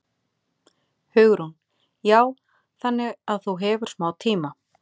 Hugrún: Já, þannig að þú hefur smá tíma?